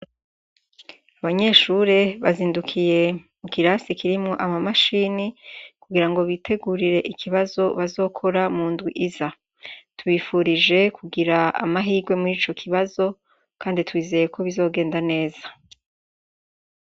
Abanyeshure bazindukiye mu kirasi kirimwo amamashini kugira ngo bitegurire ikibazo bazokora mu ndwi iza tubifurije kugira amahirwe muri ico kibazo kandi twizeye ko bizogenda neza.